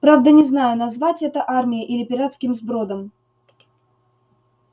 правда не знаю назвать это армией или пиратским сбродом